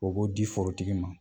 O b'o di forotigi ma